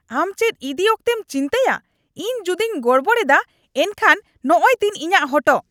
ᱟᱢ ᱪᱮᱫ ᱤᱫᱤ ᱟᱠᱛᱮᱢ ᱪᱤᱱᱛᱟᱹᱭᱟ ? ᱤᱧ ᱡᱩᱫᱤᱧ ᱜᱚᱲᱵᱚᱲ ᱮᱫᱟ ᱮᱱᱠᱷᱟᱱ ᱱᱚᱜᱼᱚᱭ ᱛᱤᱧ ᱤᱧᱟᱹᱜ ᱦᱚᱴᱚᱜ ᱾